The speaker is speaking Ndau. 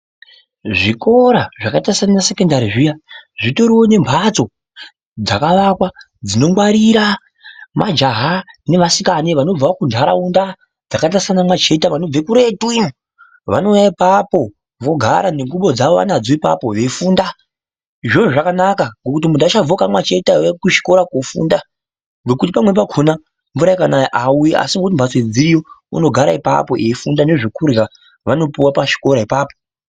Zvikora zvakaita saana sekoendari zviya zvitoriwo ne mphatso dzakavakwa dzinogwarira majaha nevasikane vanobvawo kuntharaunda dzakaita saana Mwacheta vanobve kuretu iyo. Vanouya ipapovogara nengubo dzavo vanadzo apapo veifunda. Izvozvo zvakanaka ngekuti munthu munthu aachabviwo kwaana Mwacheta eiuya kuchikora koofunda ngokuti pamweni pakhona mvura ikanaya aauyi asi ngekuti mphatso dziriyo unogara apapo eifunda nezvekurya vanopuwa pachikora ipapo.